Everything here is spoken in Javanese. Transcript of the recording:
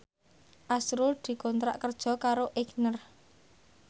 azrul dikontrak kerja karo Aigner